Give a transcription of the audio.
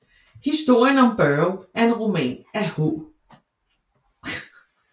Historien om Børge er en roman af H